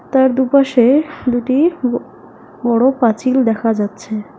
তার দুপাশে দুটি ব বড়ো পাঁচিল দেখা যাচ্ছে।